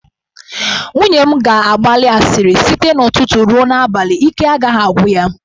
Nwunye m ga-agbali asịrị site n'ụtụtụ ruo n'abalị, ike agaghị agwụ ya.